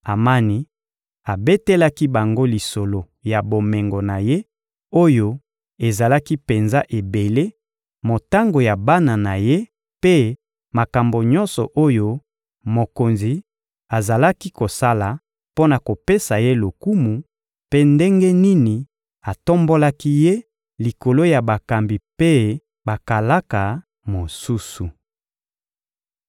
Amani abetelaki bango lisolo ya bomengo na ye oyo ezalaki penza ebele, motango ya bana na ye mpe makambo nyonso oyo mokonzi azalaki kosala mpo na kopesa ye lokumu mpe ndenge nini atombolaki ye likolo ya bakambi mpe bakalaka mosusu.